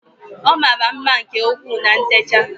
Ọ mara mma nke ukwuu na ntecha